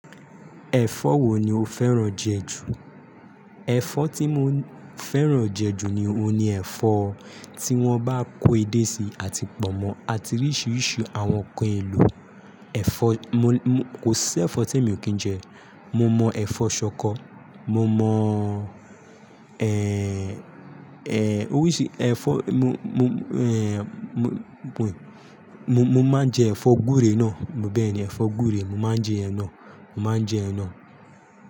Ẹ̀fọ́ wo ni o fẹ́ràn jẹ ju? Ẹ̀fọ́ tí mo fẹ́ràn jẹ ju ni, òhun ni ẹ̀fọ́ tí wọ́n bá kó edé sí àti pọ̀nmọ́ àti oríṣiríṣi àwọn nkan elo. Ẹ̀fọ́, kò sí ẹ̀fọ́ tí èmi ò kí ń jẹ. Mo mọ ẹ̀fọ́ ṣọkọ, mo mọ, ẹ, ẹ, óríṣì ẹ̀fọ́, mo, mo, ẹ, mo, mo, mo máa ń jẹ ẹ̀fọ́ gúre náà, bẹ́ẹ̀ni ẹ̀fọ́ gúre, mo máa ń jẹ iyen náà, mo máa ń jẹ iyen náà.